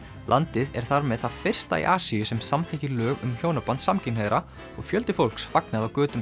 landið er þar með það fyrsta í Asíu sem samþykkir lög um hjónaband samkynhneigðra og fjöldi fólks fagnaði á götum